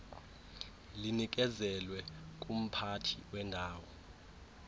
linikezelwe ngumphathi wendawo